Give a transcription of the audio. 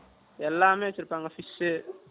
எல்லாமே வச்சிருப்பாங்க, fish